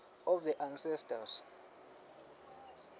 of the ancestors